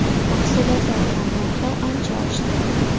Mahsulotlar tannarxi ancha oshdi.